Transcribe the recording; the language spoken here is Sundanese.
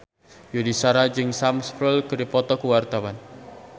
Yuni Shara jeung Sam Spruell keur dipoto ku wartawan